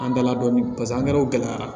An dala dɔɔni paseke an kɛrɛw gɛlɛyara